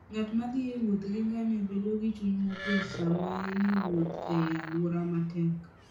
Ng'at ma thi e wuoth gi ngamia bedo gi chuny mokuwe sama en e wuoth e alwora matek.